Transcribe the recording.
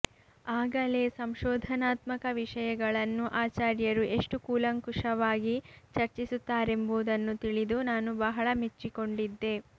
ಆಗಲೇ ಸಂಶೋಧನಾತ್ಮಕ ವಿಷಯಗಳನ್ನು ಆಚಾರ್ಯರು ಎಷ್ಟು ಕೂಲಂಕಷವಾಗಿ ಚರ್ಚಿಸುತ್ತಾರೆಂಬುದನ್ನು ತಿಳಿದು ನಾನು ಬಹಳ ಮೆಚ್ಚಿಕೊಂಡಿದ್ದೆ